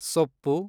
ಸೊಪ್ಪು